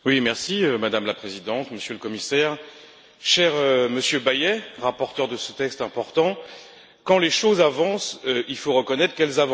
Madame la Présidente, Monsieur le Commissaire, Monsieur Bayet, rapporteur de ce texte important, quand les choses avancent, il faut reconnaître qu'elles avancent.